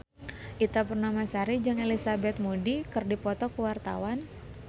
Ita Purnamasari jeung Elizabeth Moody keur dipoto ku wartawan